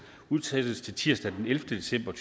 udsættes til tirsdag ellevte december